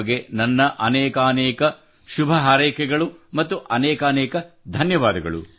ನಿಮಗೆ ನನ್ನ ಅನೇಕಾನೇಕ ಶುಭ ಹಾರೈಕೆಗಳು ಮತ್ತು ಅನೇಕಾನೇಕ ಧನ್ಯವಾದ